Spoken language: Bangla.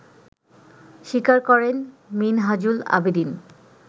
স্বীকার করেন মিনহাজুল আবেদীন